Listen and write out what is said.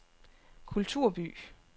kulturby